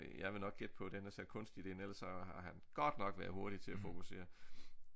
Jeg vil nok gætte på den er sat kunstigt ind ellers så har han godt nok været hurtig til at fokusere